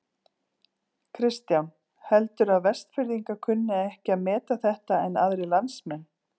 Kristján: Heldurðu að Vestfirðingar kunni ekki að meta þetta en aðrir landsmenn?